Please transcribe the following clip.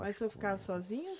Mas o senhor ficava sozinho?